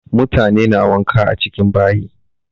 Mutane na wanka a cikin bayi.